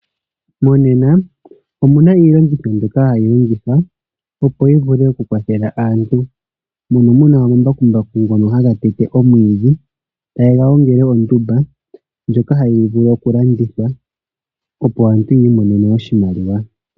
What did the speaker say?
Monena omuna iilongitho mbyoka hayi longithwa opo yi vule oku kwathela aantu. Mono muna omambakumbaku ngono haga tete omwiidhi taye ga gongele oondumba ndjoka hayi vulu oku landithwa opo aantu yiimonene oshimaliwa.